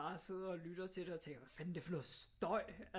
Sidder og lytter til det og tænker hvad fanden er det for noget støj